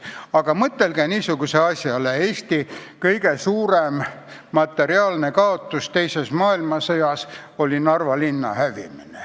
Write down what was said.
Aga mõtelge ka niisugusele asjale: Eesti kõige suurem materiaalne kaotus teises maailmasõjas oli Narva linna hävimine.